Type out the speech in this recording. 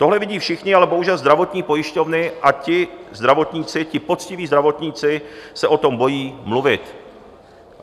Tohle vidí všichni, ale bohužel zdravotní pojišťovny a ti zdravotníci, ti poctiví zdravotníci, se o tom bojí mluvit.